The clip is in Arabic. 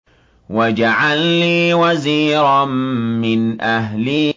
وَاجْعَل لِّي وَزِيرًا مِّنْ أَهْلِي